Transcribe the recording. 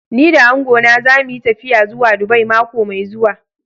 Ni da angona za mu yi tafiya zuwa Dubai mako mai zuwa.